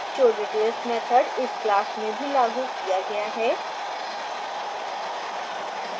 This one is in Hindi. showdetails मैथड इस class में भी लागू किया गया है